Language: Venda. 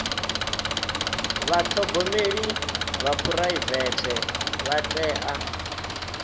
vhathogomeli vha phuraivete vha tea